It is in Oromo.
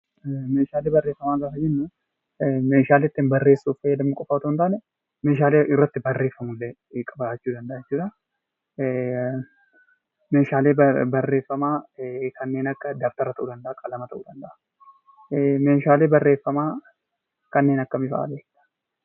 Meeshaalee barreeffamaa gaafa jennuu meeshaalee ittiin barreessuuf qofa fayyadamnu osoo hin taane meeshaalee irratti barreessinu ni hammata. Meeshaalee barreeffamaa kanneen akka dabtaraa, qalama fa'aa ta'uu danda'a. Meeshaalee barreeffamaa kanneen akkamii fa'aa beektu?